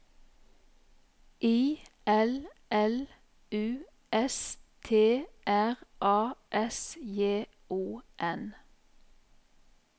I L L U S T R A S J O N